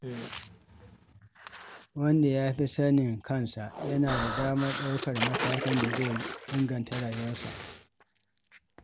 Wanda ya fi sanin kansa yana da damar ɗaukar matakin da zai inganta rayuwarsa.